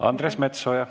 Andres Metsoja.